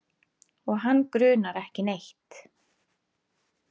Og hann grunar ekki neitt.